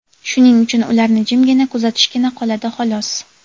shuning uchun ularni jimgina kuzatishgina qoladi, xolos.